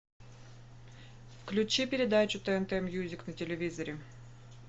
включи передачу тнт мьюзик на телевизоре